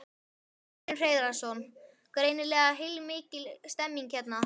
Magnús Hlynur Hreiðarsson: Greinilega heilmikil stemning hérna?